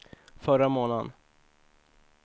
förra månaden